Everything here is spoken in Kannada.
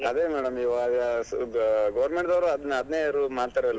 ಅದೇ madam ಇವಾಗ ಸ್ವಲ್ಪ government ದವರು ಅದ್~ ಅದ್ನೇ rule ಮಾಡ್ತರಲ್ madam .